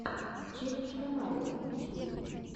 челлендж комарика ютьюб